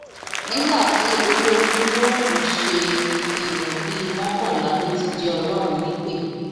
nígbà tí olójú yóò fi ṣe é èèyàn bíi mọkànlá ló ti jẹ ọlọrun nípẹ